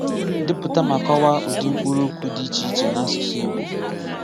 Depụta ma kọwaa ụdị mkpụrụokwu dị iche iche n’asụsụ Igbo.